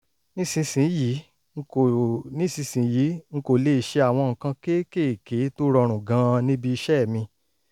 nísinsìnyí n kò nísinsìnyí n kò lè ṣe àwọn nǹkan kéékèèké tó rọrùn gan-an níbi iṣẹ́ mi